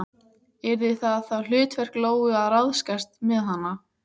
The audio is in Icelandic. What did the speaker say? Yrði það þá hlutverk Lóu að ráðskast með hana?